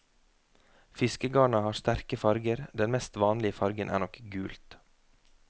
Fiskegarna har sterke farger, den mest vanlige fargen er nok gult.